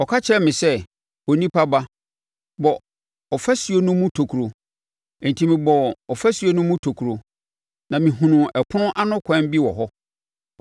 Ɔka kyerɛɛ me sɛ, “Onipa ba, bɔ ɔfasuo no mu tokuro.” Enti mebɔɔ ɔfasuo no mu tokuro, na mehunuu ɛpono ano kwan bi wɔ hɔ.